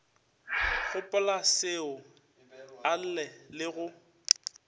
gopolaseo a lle le go